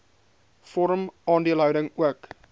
vorm aandeelhouding ook